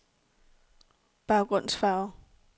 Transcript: baggrundsfarve